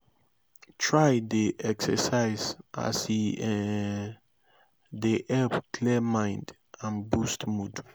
try dey exercise as e um dey help clear mind and boost mood